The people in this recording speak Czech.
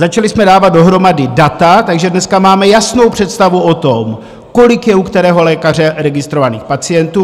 Začali jsme dávat dohromady data, takže dneska máme jasnou představu o tom, kolik je u kterého lékaře registrovaných pacientů.